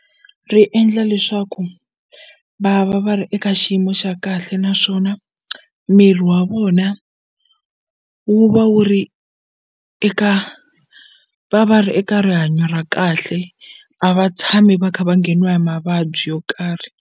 Ri endla leswaku va va va ri eka xiyimo xa kahle naswona miri wa vona wu va wu ri eka va va ri eka rihanyo ra kahle a va tshami va kha va ngheniwa hi mavabyi yo karhi.